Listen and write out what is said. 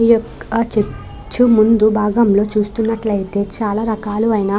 ఈ యొక్క చర్చు ముందు భాగంలో చూస్తున్నట్లయితే చాలా రకాలు అయినా --